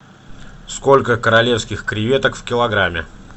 сколько королевских креветок в килограмме